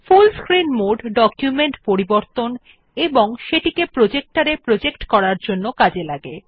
ফুল screen mode document পরিবর্তন এবং সেটিকে প্রজেক্টর এ প্রজেক্ট করার জন্য উপযোগী